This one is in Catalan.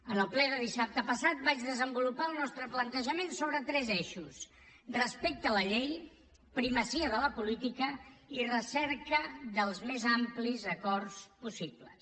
en el ple de dissabte passat vaig desenvolupar el nostre plantejament sobre tres eixos respecte a la llei primacia de la política i recerca dels més amplis acords possibles